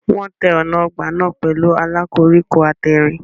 Wọ́n tẹ́ ọ̀nà ọgbà náà pẹ̀lú ààlà koríko àtẹ̀rìn.